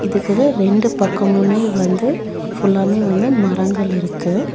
இதுக்குது ரெண்டு பக்கமுமே வந்து ஃபுல்லாமே வந்து மரங்கள் இருக்கு.